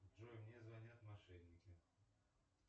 джой мне звонят мошенники